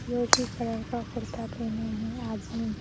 विरोधी कलर का कुर्ता पहने हैंआदमी--